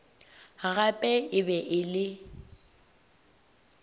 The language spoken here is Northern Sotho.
gape e be e le